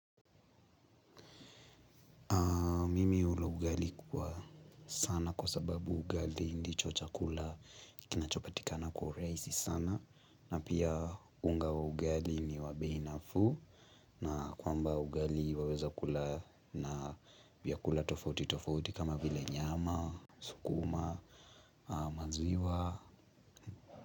Kula ugali kwa sana kwa sababu ugali ndicho chakula kinachopatikana kwa urahisi sana na pia unga wa ugali ni wa bei nafuu na kwamba ugali waweza kula na vyakula tofauti tofauti kama vile nyama, sukuma, maziwa.